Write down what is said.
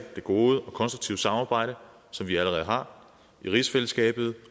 det gode og konstruktive samarbejde som vi allerede har i rigsfællesskabet